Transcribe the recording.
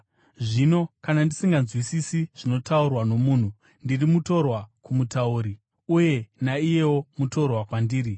Zvino kana ndisinganzwisisi zvinotaurwa nomunhu, ndiri mutorwa kumutauri, uye naiyewo mutorwa kwandiri.